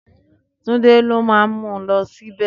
Túndé ló máa mú un lọ síbẹ̀.